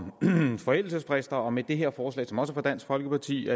om forældelsesfrister og med det her forslag som også af dansk folkeparti